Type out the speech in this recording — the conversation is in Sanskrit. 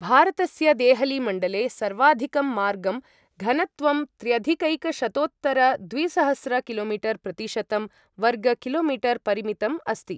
भारतस्य देहली मण्डले, सर्वाधिकं मार्ग घनत्वं त्र्यधिकैकशतोत्तरद्विसहस्र किलो मीटर् प्रतिशतं वर्ग कि.मी.परिमितम् अस्ति।